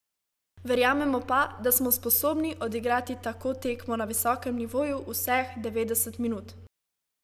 Verjamemo pa, da smo sposobni odigrati tako tekmo na visokem nivoju vseh devetdeset minut.